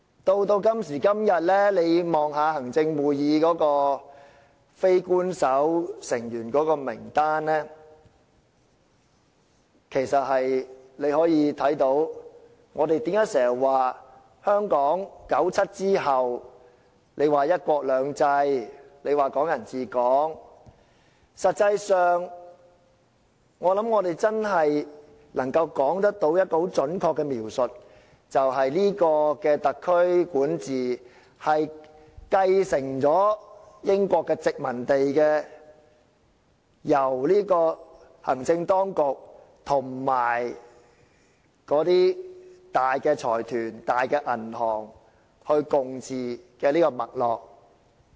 時至今時今日，大家可以看看行政會議的非官守成員名單，我們經常說香港在1997年後實行"一國兩制"及"港人治港"，但實際上，我相信我們如果真的要作出準確的描述，便只能說這個特區政府從英國殖民地承繼了由行政當局、大財團及銀行共同管治的這種脈絡。